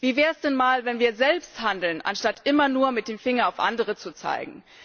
Wie wäre es denn, wenn wir selbst einmal handeln, anstatt immer nur mit dem Finger auf andere zu zeigen?